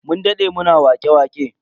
Mun dade muna wake-waƙe.